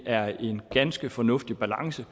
er en ganske fornuftig balance